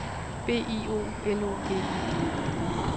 B I O L O G I